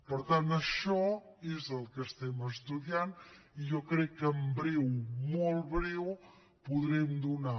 per tant això és el que estem estudiant i jo crec que en breu molt en breu podrem donar